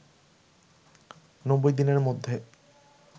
৯০ দিনের মধ্যে